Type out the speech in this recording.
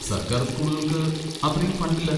സർക്കാർ സ്കൂളുകൾക്ക് അത്രയും ഫണ്ടില്ല.